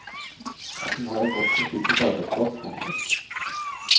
Hun har en godt beskyttet arbeidsplass. punktum